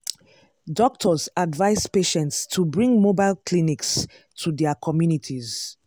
doctors advise patients to bring mobile clinics to their communities.